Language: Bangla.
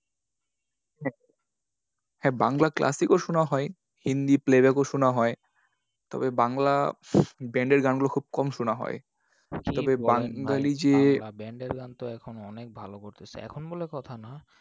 হ্যাঁ বাংলা classic ও শোনা হয়। হিন্দি playback ও শোনা হয়। তবে বাংলা band এর গানগুলো খুব কম শোনা হয়। বাংলা band এর গান তো এখন অনেক ভালো করতেসে। এখন বলে কথা না,